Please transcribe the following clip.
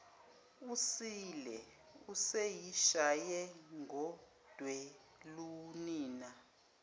usile useyishaye ngodelunina